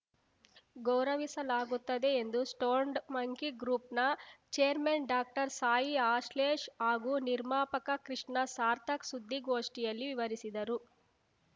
ಗೌರವಿಸಲಾಗುತ್ತದೆ ಎಂದು stoned monkey ಗ್ರೂಪ್‌ನ chairman doctor Sai Ashlesh ಹಾಗೂ ನಿರ್ಮಾಪಕ ಕೃಷ್ಣ ಸಾರ್ಥಕ್‌ ಸುದ್ದಿಗೋಷ್ಠಿಯಲ್ಲಿ ವಿವರಿಸಿದರು